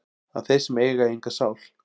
að þeir sem eiga enga sál